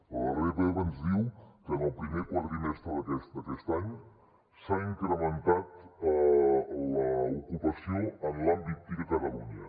la darrera epa ens diu que en el primer quadrimestre d’aquest any s’ha incrementat l’ocupació en l’àmbit tic a catalunya